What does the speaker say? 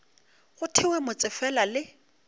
go thewe motse fela le